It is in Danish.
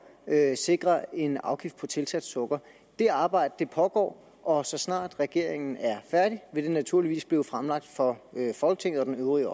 at sikre en afgift på tilsat sukker det arbejde pågår og så snart regeringen er færdig vil det naturligvis blive fremlagt for folketinget og den øvrige